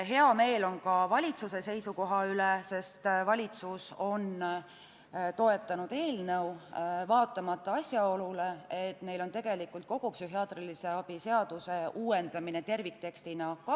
Hea meel on ka valitsuse seisukoha üle, sest valitsus on seda eelnõu toetanud hoolimata asjaolust, et neil on tegelikult kavas kogu psühhiaatrilise abi seadust terviktekstina uuendada.